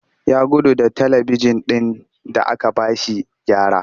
Ya gudu da talibijin ɗin da aka ba shi gyara